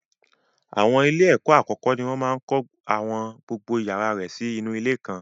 Àwọn ilé ìwé àkọ́kọ́ ni wọ́n máa ń kọ́ àwọn gbogbo yàrá rẹ̀ sí inú ilé kan.